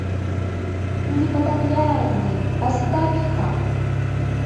непотопляемые поставь ка